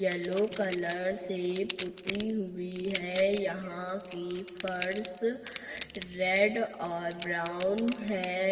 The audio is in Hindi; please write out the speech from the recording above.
येलो कलर से पुती हुई है यहां की फर्श रेड और ब्राउन है।